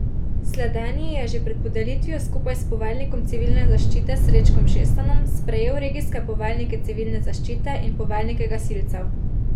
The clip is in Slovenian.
Sledenji je že pred podelitvijo skupaj s poveljnikom Civilne zaščite Srečkom Šestanom sprejel regijske poveljnike Civilne zaščite in poveljnike gasilcev.